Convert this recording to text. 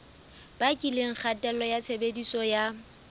bakileng kgatello ya tshebediso ya